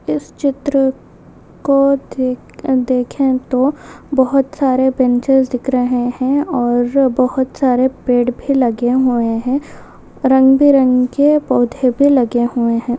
इस चित्र को देख देखे तो बहुत सारे पेंसिल्स दिख रहे है और बहुत सारे पेड़ भी लगे हुए है रंग बिरंगे पौधे भी लगे हुए है।